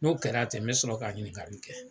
N'o kɛra ten n be sɔrɔ ka ɲininkali kɛ.